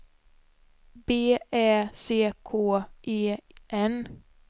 B Ä C K E N